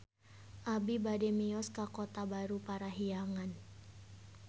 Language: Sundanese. Abi bade mios ka Kota Baru Parahyangan